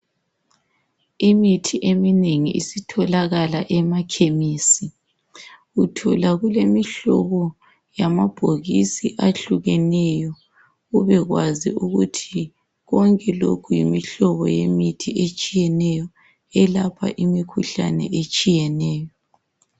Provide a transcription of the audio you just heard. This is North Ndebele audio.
Imithi eminengi isitholakala ema khemisi uthola kulemihlobo yamabhokisi ahlukeneyo ube kwazi ukuthi konke lokhu yimihlobo yemithi etshiyeneyo elapha imikhuhlane etshiyeneyo.